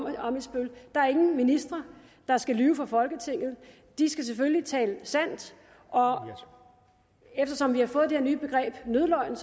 ammitzbøll der er ingen ministre der skal lyve for folketinget de skal selvfølgelig tale sandt og eftersom vi har fået det her nye begreb nødløgn